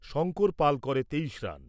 শংকর পাল করে তেইশ রান।